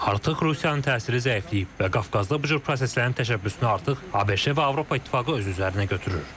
Artıq Rusiyanın təsiri zəifləyib və Qafqazda bu proseslərin təşəbbüsünü artıq ABŞ və Avropa İttifaqı öz üzərinə götürür.